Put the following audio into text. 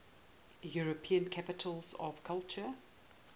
european capitals of culture